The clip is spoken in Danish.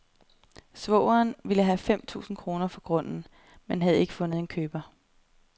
Svogeren ville have fem tusind kroner for grunden, men havde ikke fundet en køber.